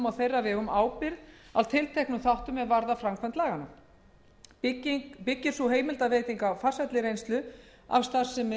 á þeirra vegum ábyrgð á tilteknum þáttum er varða framkvæmd laga þessara byggir sú heimildarveiting á farsælli reynslu af starfsemi